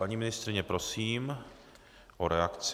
Paní ministryně, prosím o reakci.